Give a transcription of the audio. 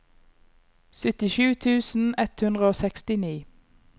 syttisju tusen ett hundre og sekstini